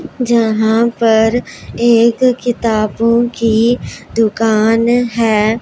जहां पर एक किताबों की दुकान है।